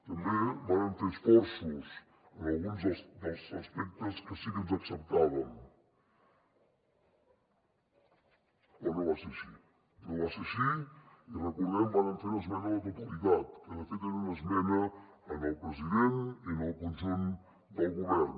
també vàrem fer esforços en alguns dels aspectes que sí que ens acceptaven però no va ser així no va ser així i recordem ho vàrem fer una esmena a la totalitat que de fet era una esmena al president i al conjunt del govern